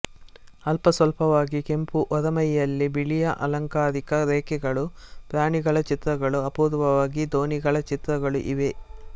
ಅಲ್ಪಸ್ವಲ್ಪವಾಗಿ ಕೆಂಪು ಹೊರಮೈಯಲ್ಲಿ ಬಿಳಿಯ ಅಲಂಕಾರಿಕ ರೇಖೆಗಳು ಪ್ರಾಣಿಗಳ ಚಿತ್ರಗಳು ಅಪೂರ್ವವಾಗಿ ದೋಣಿಗಳ ಚಿತ್ರಗಳು ಇವೆ